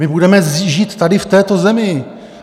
My budeme žít tady v této zemi.